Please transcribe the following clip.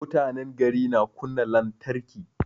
Mutanen gari na kunna lantarki